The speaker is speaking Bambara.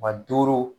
Maa duuru